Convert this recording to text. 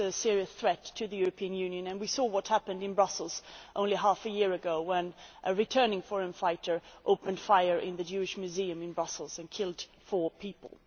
It is a serious threat to the European Union, and we saw what happened in Brussels only half a year ago when a returning foreign fighter opened fire in the Jewish Museum in Brussels and killed four people.